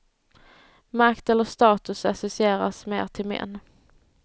Makt eller status associeras mer till män.